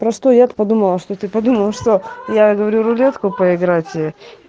просто я подумала что ты подумала что я говорю рулетку поиграть